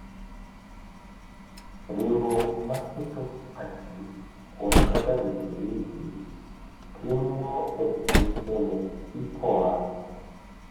Riwruok ma keto pachgi kuom kaka jopolisi timo e piny Kenya IPOA,